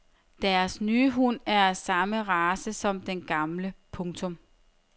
Deres nye hund er af samme race som den gamle. punktum